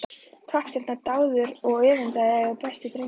Poppstjarna, dáður og öfundaður og besti drengur.